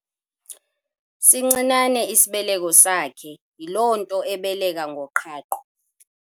Sincinane isibeleko sakhe yiloo nto ebeleka ngoqhaqho.